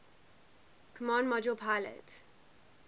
command module pilot